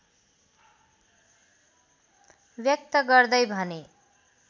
व्यक्त गर्दै भने